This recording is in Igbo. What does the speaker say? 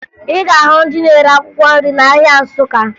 Ị ga-ahụ ndị na-ere akwụkwọ nri n'ahịa Nsụka